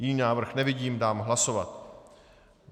Jiný návrh nevidím, dám hlasovat.